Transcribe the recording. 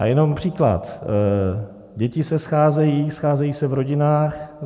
A jenom příklad: děti se scházejí, scházejí se v rodinách.